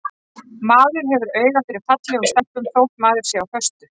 Maður hefur auga fyrir fallegum stelpum þótt maður sé á föstu.